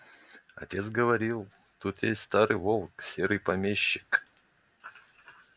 отец говорил тут есть старый волк серый помещик